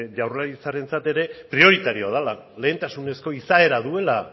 jaurlaritzarentzako ere prioritarioa dela lehentasunezko izaera duela